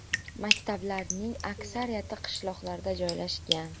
Maktablarning aksariyati qishloqlarda joylashgan.